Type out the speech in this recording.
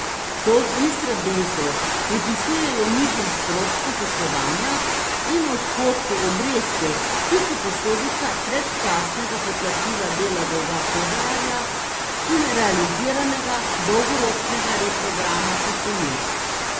To v Istrabenzu pripisujejo nižjim stroškom poslovanja in odhodkom obresti, ki so posledica predčasnega poplačila dela dolga februarja in realiziranega dolgoročnega reprograma posojil.